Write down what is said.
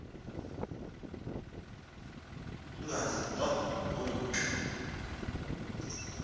ungazi nto ngumka